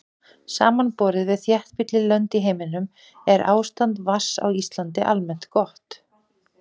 samanborið við þéttbýlli lönd í heiminum er ástand vatns á íslandi almennt gott